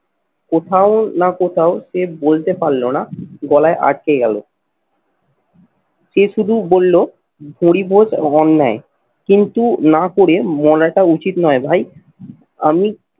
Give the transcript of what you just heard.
কোথাও না কোথাও সে বলতে পারল না গলায় আটকে গেল। সে শুধু বলল হরি বোস এবং অন্যায় কিন্তু না করে মরাটা উচিত নয় ভাই আমি